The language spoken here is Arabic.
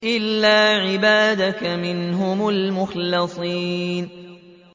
إِلَّا عِبَادَكَ مِنْهُمُ الْمُخْلَصِينَ